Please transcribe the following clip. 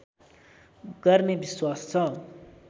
गर्ने विश्वास छ